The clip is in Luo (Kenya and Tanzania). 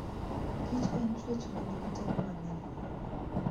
kich en chwech ma nigi teko mang'eny ahinya.